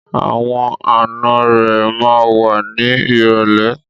Àwọn ànọ́ rẹ̀ ma wá ní ìrọ̀lẹ́.